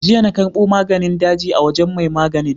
Jiya na karɓo maganin daji a wajen mai maganin.